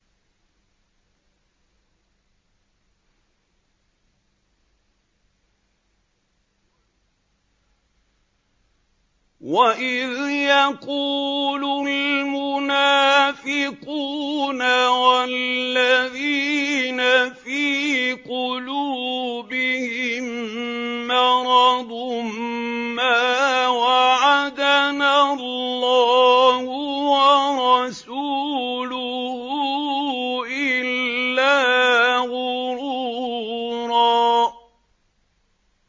وَإِذْ يَقُولُ الْمُنَافِقُونَ وَالَّذِينَ فِي قُلُوبِهِم مَّرَضٌ مَّا وَعَدَنَا اللَّهُ وَرَسُولُهُ إِلَّا غُرُورًا